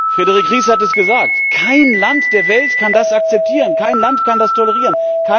Frédérique Ries hat es gesagt Kein Land der Welt kann das akzeptieren, kein Land kann das tolerieren!